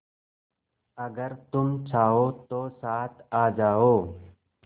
अगर तुम चाहो तो साथ आ जाओ